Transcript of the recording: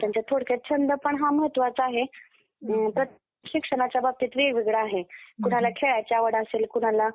अठराशे चौदा रोजी मुंबईमध्ये झालेला. त्यांना मराठी म~ व्याकरणाचे पाणिनी असं पण म्हंटल जातं. हे धार्मिक वृत्तीचे होते. शिक्षण पूर्ण करून जावरा संस्थानाच्या,